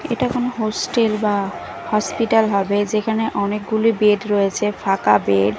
এটা কোনো হোস্টেল বা হসপিটাল হবে যেখানে অনেকগুলি বেড রয়েছে ফাঁকা বেড ।